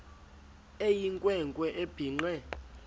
eyinkwe nkwe ebhinqe